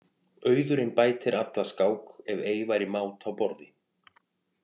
Auðurinn bætir alla skák ef ei væri mát á borði.